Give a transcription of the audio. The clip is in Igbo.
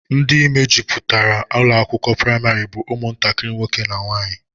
Ndị mejupụtara ụlọakwụkwọ praịmarị bụ ụmụntakịrị nwoke na nwaanyị